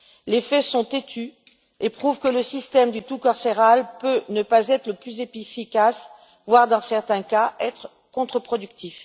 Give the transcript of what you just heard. Les faits sont têtus et prouvent que le système du tout carcéral peut ne pas être le plus efficace, voire, dans certains cas, être contre productif.